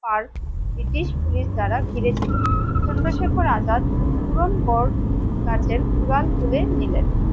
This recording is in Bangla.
আর ব্রিটিশ পুলিশ দ্বারা ঘিরে ছিল চন্দ্রশেখর আজাদ পূরণগড় গাছে উড়াল তুলে নিলেন।